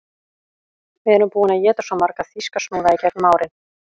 Við erum búin að éta svo marga þýska snúða í gegnum árin